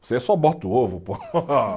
Você só bota o ovo, pô.